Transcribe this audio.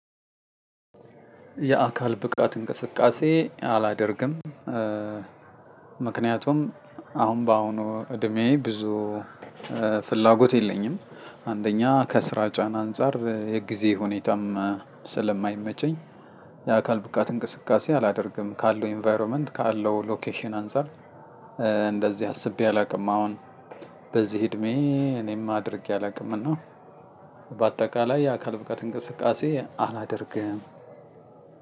የአካል ብቃት እንቅስቃሴ አላደርግም። ምክንያቱም አሁን በአሁኑ እድሜዬ ብዙ ፍላጎት የለኝም። አንደኛ ከስራ ጫና አንፃር የጊዜ ሁኔታም ስለማይመቸኝ- የአካል ብቃት እንቅስቃሴ አላደርግም። ካለው ኢንቫሮንመንት ካለው ሎኬሽን አንፃር እንደዚህ አስቤ አላቅም። አሁን በዚህ እድሜዬ እኔም አድርጌ አላውቅም እና። በአጠቃላይ የአካል ብቃት እንቅስቃሴ አላደርግም።